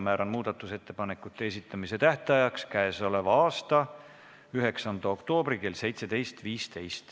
Määran muudatusettepanekute esitamise tähtajaks k.a 9. oktoobri kell 17.15.